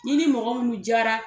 N'i ni mɔgɔ minnu diyara